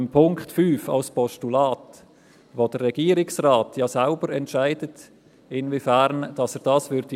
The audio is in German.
Beim Punkt 5 als Postulat entscheidet der Regierungsrat ja selbst, inwiefern er es umsetzen würde.